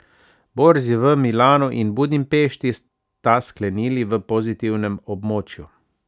Borzi v Milanu in Budimpešti sta sklenili v pozitivnem območju.